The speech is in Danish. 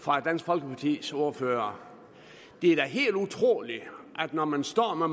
fra dansk folkepartis ordfører det er da helt utroligt når man står med